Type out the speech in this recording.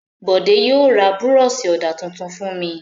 Bọ̀dé yóò ra búrọ́ṣì ọ̀dà tuntun fún mi.